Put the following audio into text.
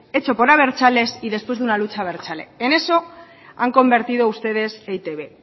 hecho por abertzales y después de una lucha abertzale en eso han convertido ustedes e i te be